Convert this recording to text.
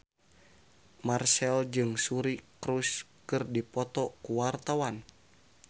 Marchell jeung Suri Cruise keur dipoto ku wartawan